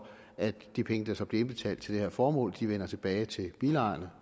at de penge der så bliver indbetalt til det her formål vender tilbage til bilejerne